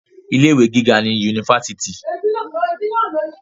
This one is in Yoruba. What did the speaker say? Ilé ìwé gíga ní yunifásítì.